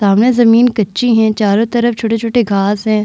सामने जमीन कच्ची है। चारो तरफ छोटे-छोटे घांस है।